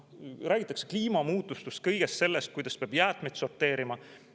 Räägitakse kliimamuutustest, kõigest sellest, kuidas peab jäätmeid sorteerima.